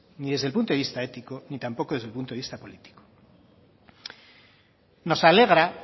ni desde el punto de vista ético ni tampoco desde el punto de vista político nos alegra